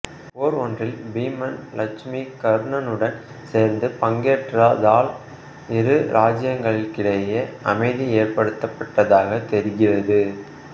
போர் ஒன்றில் பீமன் இலட்சுமிகர்ணனுடன் சேர்ந்து பங்கேற்றதால் இரு இராச்சியங்களுக்கிடையில் அமைதி ஏற்படுத்தப்பட்டதாகத் தெரிகிறது